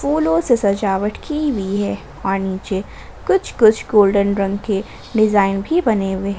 फूलों से सजावट की हुई है और नीचे कुछ कुछ गोल्डेन रंग के डिजाइन भी बने हुए।